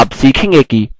आप सीखेंगे कि: